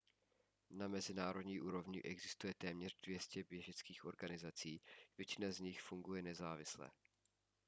na mezinárodní úrovni existuje téměř 200 běžeckých organizací většina z nich funguje nezávisle